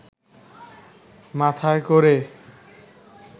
মাথায় ক’রে